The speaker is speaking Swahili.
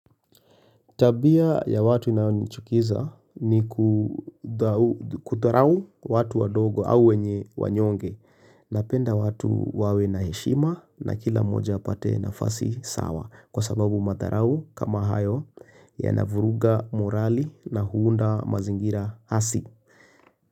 Tabia ya watu inayonichukiza nikudharau watu wadogo au wanyonge napenda watu wawe na heshima na kila mmoja apate nafasi sawa kwa sababu madharau kama hayo yanavuruga morali na huunda mazingira hasi.